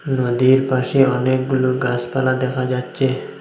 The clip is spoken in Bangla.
নদীর পাশে অনেকগুলো গাসপালা দেখা যাচ্ছে।